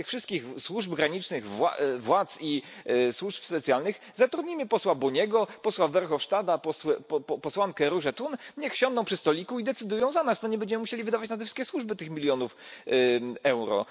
Zamiast tych wszystkich służb granicznych, władz i służb specjalnych zatrudnijmy posła Boniego, posła Verhofstadta, posłankę Różę Thun, niech siądą przy stoliku i decydują za nas, to nie będziemy musieli wydawać na te wszystkie służby tych milionów euro.